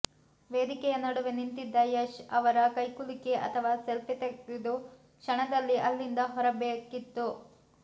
ವೇದಿಕೆಯ ನಡುವೆ ನಿಂತಿದ್ದ ಯಶ್ ಅವರ ಕೈಕುಲುಕಿ ಅಥವಾ ಸೆಲ್ಫಿ ತೆಗೆದು ಕ್ಷಣದಲ್ಲಿ ಅಲ್ಲಿಂದ ಹೊರಬೇಕಿತ್ತು